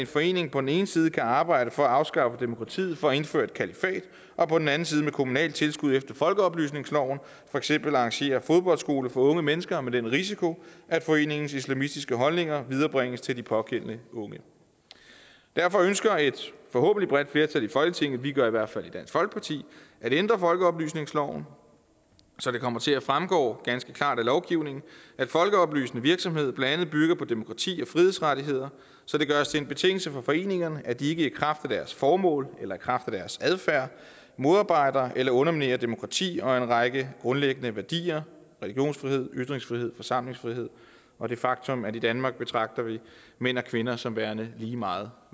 forening på den ene side kan arbejde for at afskaffe demokratiet for at indføre et kalifat og på den anden side med kommunalt tilskud efter folkeoplysningsloven for eksempel arrangere fodboldskole for unge mennesker med den risiko at foreningens islamistiske holdninger viderebringes til de pågældende unge derfor ønsker et forhåbentlig bredt flertal i folketinget vi gør i hvert fald i dansk folkeparti at ændre folkeoplysningsloven så det kommer til at fremgå ganske klart af lovgivningen at folkeoplysende virksomhed blandt andet bygger på demokrati og frihedsrettigheder så det gøres til en betingelse for foreningerne at de ikke i kraft af deres formål eller i kraft af deres adfærd modarbejder eller underminerer demokrati og en række grundlæggende værdier religionsfrihed ytringsfrihed forsamlingsfrihed og det faktum at i danmark betragter vi mænd og kvinder som værende lige meget